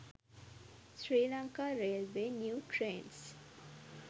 sri lanka railway new trains